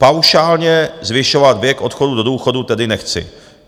Paušálně zvyšovat věk odchodu do důchodu tedy nechci."